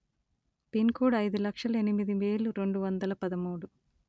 pin code అయిదు లక్షల ఎనిమిది వేలు రెండు వందల పదమూడు